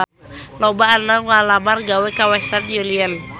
Loba anu ngalamar gawe ka Western Union